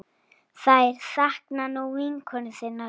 Þær sakna nú vinkonu sinnar.